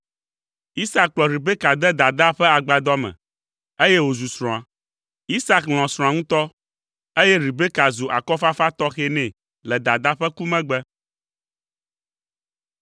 Isak kplɔ Rebeka de dadaa ƒe agbadɔ me, eye wòzu srɔ̃a. Isak lɔ̃ srɔ̃a ŋutɔ, eye Rebeka zu akɔfafa tɔxɛ nɛ le dadaa ƒe ku megbe.